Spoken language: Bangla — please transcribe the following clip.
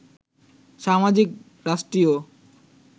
সামাজিক, রাষ্ট্রীয়